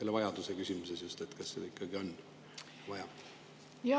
Ja vajaduse küsimus: kas seda ikkagi on vaja?